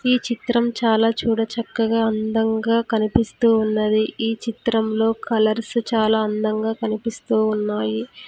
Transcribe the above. ఈ చిత్రం చాలా చూడచక్కగా అందంగా కనిపిస్తూ ఉన్నది ఈ చిత్రంలో కలర్స్ చాలా అందంగా కనిపిస్తూ ఉన్నాయి.